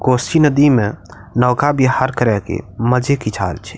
कोसी नदी में नौका विहार करे के मजे किछ आर छै।